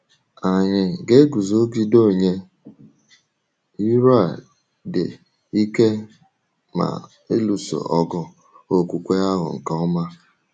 Anyị ga-eguzogide onye iro a dị ike ma “lụso ọgụ okwukwe ahụ nke ọma.”